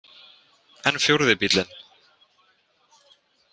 En fjórði bíllinn?